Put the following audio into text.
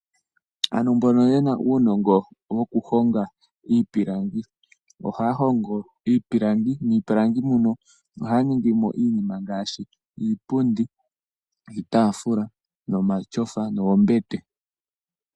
Ano mbono yena uunongo woku honga iipilangi, ohaa hongo iipilangi nohaya ningimo iinima ngaashi iipundi ,iitaafula ,omatyofa noombete.